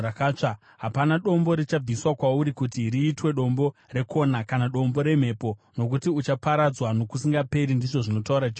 Hapana dombo richabviswa kwauri kuti riitwe dombo rekona, kana dombo remhepo, nokuti uchaparadzwa nokusingaperi,” ndizvo zvinotaura Jehovha.